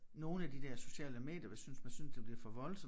Nogle af de der sociale medier hvis synes man synes det bliver for voldsomt